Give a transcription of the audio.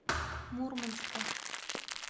мурманска